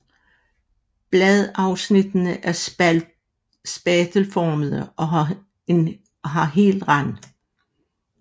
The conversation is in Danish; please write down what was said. Bladafsnittene er spatelformede og har hel rand